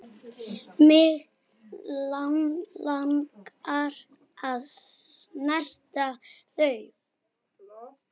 Mig langar að snerta þau.